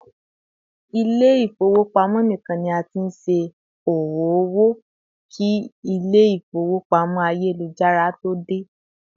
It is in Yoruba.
ilé ifowopamọ nikan ni a t'in ṣẹ owo owó ki ilé ifowópamọ́ ayélujára to dé